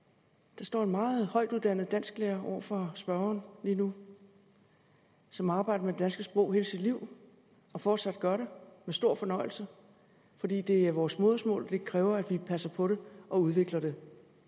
der står en meget højtuddannet dansklærer over for spørgeren lige nu som har arbejdet med det danske sprog hele sit liv og fortsat gør det med stor fornøjelse fordi det er vores modersmål og det kræver at vi passer på det og udvikler det